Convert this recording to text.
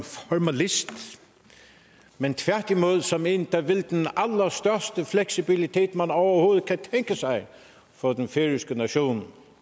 formalist men tværtimod som en der vil den allerstørste fleksibilitet man overhovedet kan tænke sig for den færøske nation